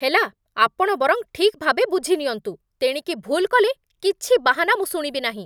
ହେଲା, ଆପଣ ବରଂ ଠିକ୍‌ଭାବେ ବୁଝିନିଅନ୍ତୁ। ତେଣିକି ଭୁଲ୍ କଲେ କିଛି ବାହାନା ମୁଁ ଶୁଣିବି ନାହିଁ।